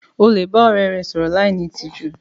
O le ba ọrẹ rẹ sọrọ láì ní ìtìjú.